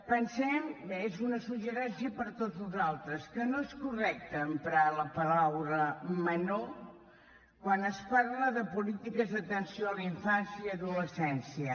pensem és un suggeriment per a tots nosaltres que no és correcte emprar la paraula menor quan es parla de polítiques d’atenció a la infància i adolescència